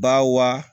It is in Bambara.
Ba wa